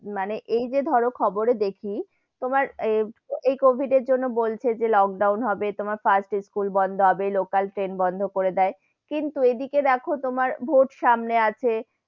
মানে এই যে ধরো খবরে দেখি তোমার এই কোবিদ এর জন্য বলছে যে লোকডাউন হবে, তোমার first school বন্ধ হবে local ট্রেন বন্ধ করে দেয়, কিন্তু এদিকে দেখো তোমার vote সামনে আছে,